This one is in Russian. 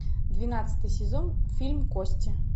двенадцатый сезон фильм кости